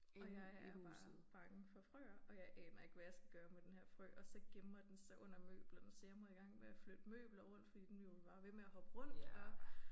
Og jeg er bare bange for frøer og jeg aner ikke hvad jeg skal gøre med denne her frø og så gemmer den sig under møblerne så jeg må i gang med at flytte møbler rundt fordi den bliver jo bare ved med at hoppe rundt og